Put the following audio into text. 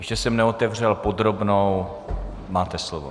Ještě jsem neotevřel podrobnou, máte slovo.